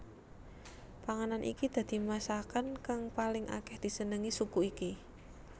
Panganan iki dadi masakan kang paling akeh disenengi suku iki